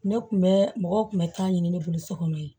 Ne kun bɛ mɔgɔw kun bɛ taa ɲini ne bolo so kɔnɔ yen